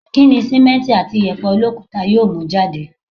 Kí ni sìmẹ́nti àti ìyẹ̀pẹ̀ olókuta yóò mú jáde?